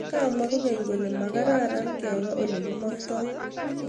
Kamwaa kokeny' kolee makaraaran kebaa ole kimaagtooi